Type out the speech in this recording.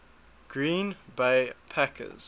green bay packers